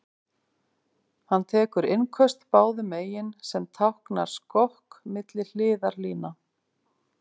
Hann tekur innköst báðum megin, sem táknar skokk milli hliðarlína.